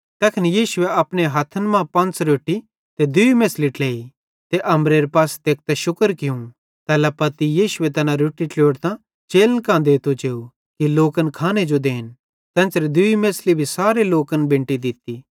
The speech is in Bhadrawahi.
तैखन यीशुए अपने हथ्थे मां पंच़ रोट्टी ते दूई मेछ़ली ट्लेई त अम्बरेरे पासे तेकतां शुक्र कियूं तैल्ला पत्ती यीशु तैना रोट्टी ट्लोड़तां चेलन कां देते जेव कि लोकन खाने जो देन तेन्च़रां दूई मेछ़ली भी तैन सारे लोकन बेंटी दित्ती